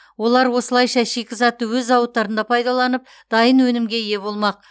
олар осылайша шикізатты өз зауыттарында пайдаланып дайын өнімге ие болмақ